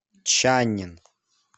чаннин